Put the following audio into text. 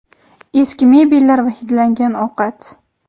Eski mebellar va hidlangan ovqat.